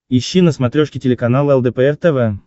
ищи на смотрешке телеканал лдпр тв